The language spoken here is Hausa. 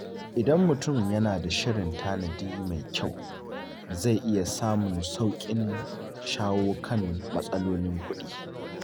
Idan mutum yana da shirin tanadi mai kyau, zai iya samun sauƙin shawo kan matsalolin kuɗi.